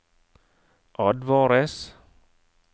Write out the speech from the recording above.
advares